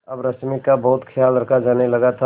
अब रश्मि का बहुत ख्याल रखा जाने लगा था